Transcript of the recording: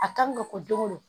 A ka nɔgɔ don o don